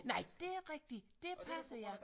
Nej det er rigtigt det passer ja